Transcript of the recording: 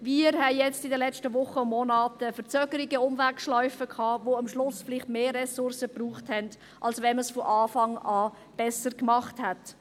Wir haben jetzt in den letzten Wochen und Monaten Verzögerungen und Umwegschlaufen gehabt, die am Schluss vielleicht mehr Ressourcen gebraucht haben, als wenn man es von Anfang an besser gemacht hätte.